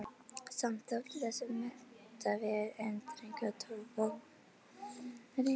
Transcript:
Samt þótti þessi menntavegur enn þröngur og torfarinn.